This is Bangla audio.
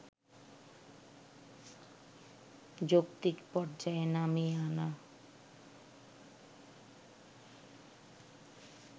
যৌক্তিক পর্যায়ে নামিয়ে আনা